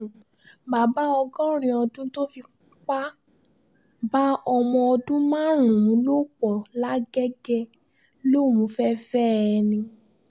bàbá ọgọ́rin ọdún tó fipá bá ọmọ ọdún márùn-ún lò pọ̀ làgẹ́gẹ́ lòún fẹ́ẹ́ fẹ́ ẹ ni